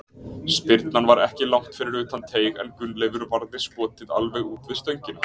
Spyrnan var ekki langt fyrir utan teig en Gunnleifur varði skotið alveg út við stöngina.